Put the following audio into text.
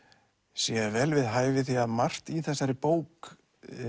sé vel við hæfi því að margt í þessari bók